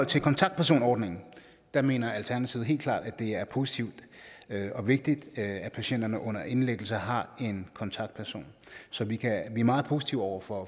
til kontaktpersonordningen mener alternativet helt klart at det er positivt og vigtigt at patienterne under indlæggelse har en kontaktperson så vi er meget positive over for